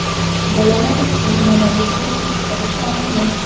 Bolalar uchun mana bunday qiziqtirish omili.